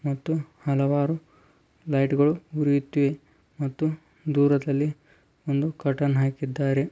ಮತ್ತು ಹಲವಾರು ಲೈಟುಗಳು ಉರಿಯುತ್ತೇವೆ ಮತ್ತುದೂರದಲ್ಲಿ ಒಂದು ಕರ್ಟನ್ ಹಾಕಿದ್ದಾರೆ.